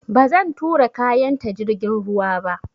Ba zan tura kayan ta jirgin ruwa ba